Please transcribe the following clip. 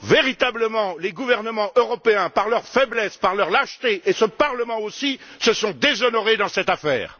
Véritablement, les gouvernements européens, par leur faiblesse, par leur lâcheté, tout comme ce Parlement, se sont déshonorés dans cette affaire.